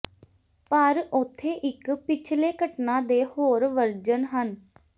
ਪਰ ਉੱਥੇ ਇੱਕ ਪਿਛਲੇ ਘਟਨਾ ਦੇ ਹੋਰ ਵਰਜਨ ਹਨ